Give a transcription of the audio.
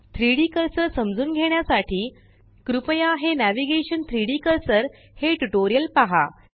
3डी कर्सर समजून घेण्यासाठी कृपया हे नेव्हिगेशन - 3डी कर्सर हे ट्यूटोरियल पहा